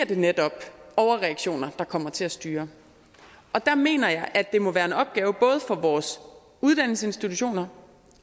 det netop overreaktioner der kommer til at styre og der mener jeg at det må være en opgave både for vores uddannelsesinstitutioner